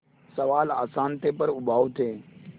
सवाल आसान थे पर उबाऊ थे